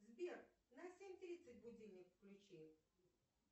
сбер на семь тридцать будильник включи